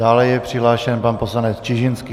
Dále je přihlášen pan poslanec Čižinský.